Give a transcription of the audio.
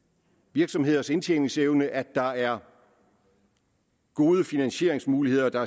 virksomheders indtjeningsevne at der er gode finansieringsmuligheder